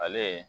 Ale